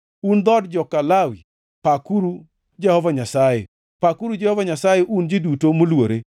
un dhood joka Lawi, pakuru Jehova Nyasaye; pakuru Jehova Nyasaye, un ji duto moluore.